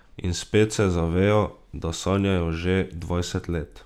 In spet se zavejo, da sanjajo že dvajset let.